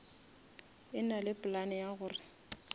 e nale plan ya gore